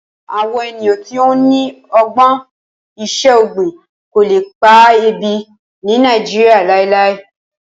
Awọn eniyan ti o ni ọgbọn iṣẹ-ogbin ko le pa ebi ni Naijiria lailai